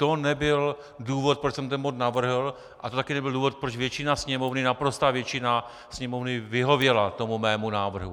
To nebyl důvod, proč jsem ten bod navrhl, a to taky nebyl důvod, proč většina Sněmovny, naprostá většina Sněmovny vyhověla tomu mému návrhu.